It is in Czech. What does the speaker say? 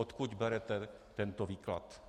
Odkud berete tento výklad.